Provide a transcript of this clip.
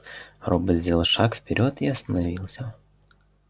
робот сделал шаг вперёд и остановился